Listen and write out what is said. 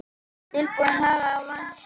Tilboðin í Haga undir væntingum